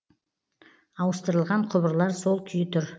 ауыстырылған құбырлар сол күйі тұр